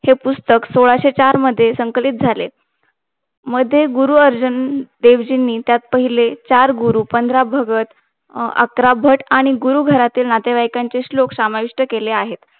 हे पुस्तक सोळाशे चार मध्ये संकलित झाले मध्ये गुरुअर्जन देव जीनी त्यात पाहिले चार गुरु पंधरा भंगत अकरा भट आणि गुरु घरातील नातेवाईकांचे श्लोक समाविष्ट केले आहे